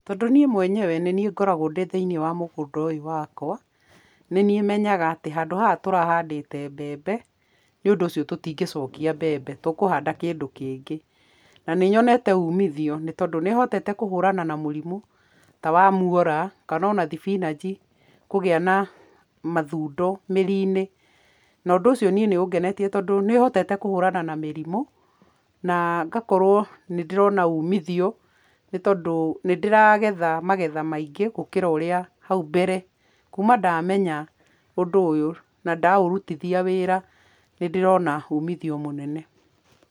Tondũ niĩ mwenyewe nĩ niĩ ngoragwo thĩinĩ wa mũgũnda ũyũ wakwa, nĩ niĩ menyaga atĩ handũ haha tũrahandĩte mbembe, nĩ ũndũ ũcio tũtingĩcokia mbembe, tũkũhanda kĩndũ kĩngĩ, na nĩ nyonete umithio nĩ tondũ nĩ hotete kũhũrana na mũrimũ, ta wa muora kana kana ona thibinanji kũgĩa na mathundo mĩri-inĩ, na ũndũ ũcio niĩ nĩ ũngenetie tondũ nĩhotete kuhũrana na mĩrimũ, na ngakorwo nĩ ndĩrona umithio, nĩ tondũ nĩ ndĩragetha magetha maingĩ gũkĩra ũrĩa hau mbere, kuma ndamenya ũndũ ũyũ na ndaũrutithia wĩra, nĩ ndĩrona umithio mũnene.